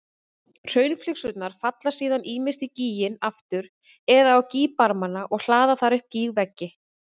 Hraunflygsurnar falla síðan ýmist í gíginn aftur eða á gígbarmana og hlaða þar upp gígveggi.